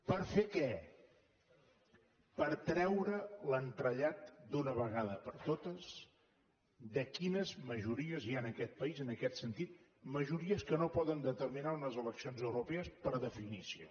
per fer què per treure l’entrellat d’una vegada per totes de quines majories hi ha en aquest país en aquest sentit majories que no poden determinar unes eleccions europees per definició